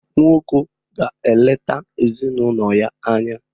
Nwoko ga-eleta ezinụlọ ya anya.